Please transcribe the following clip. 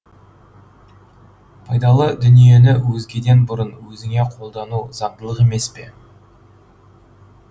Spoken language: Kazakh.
пайдалы дүниені өзгеден бұрын өзіңе қолдану заңдылық емес пе